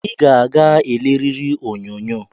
I ga-aga eleriri onyonyo!